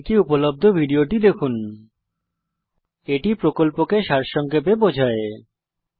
এই লিঙ্কে উপলব্ধ ভিডিও টি দেখুন httpspoken tutorialorgWhat is a spoken tutorial এটি প্রকল্পকে সারসংক্ষেপে বোঝায়